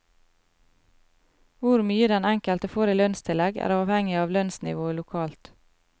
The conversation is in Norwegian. Hvor mye den enkelte får i lønnstillegg er avhengig av lønnsnivået lokalt.